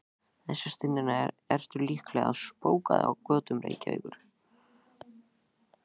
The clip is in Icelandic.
Þessa stundina ertu líklega að spóka þig á götum Reykjavíkur.